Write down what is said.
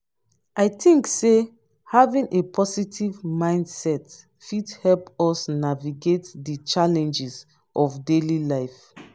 i think say having a positive mindset fit help us navigate di challenges of daily life.